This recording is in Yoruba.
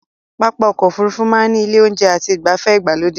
Pápá ọkọ̀ Òfurufú máa ní ilé oúnjẹ àti igbafe ìgbàlódé